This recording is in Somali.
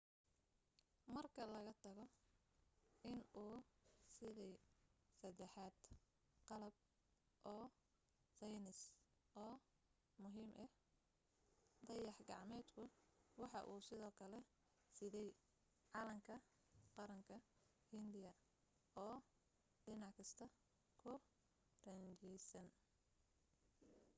marka laga tago inuu siday saddex qalab oo saynis oo muhiim ah dayax gacmeedku waxa uu sidoo kale siday calanka qaranka hindiya oo dhinac kasta ku rinjisan